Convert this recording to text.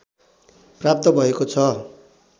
प्राप्त भएको छ